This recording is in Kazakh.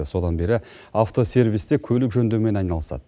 содан бері автосервисте көлік жөндеумен айналысады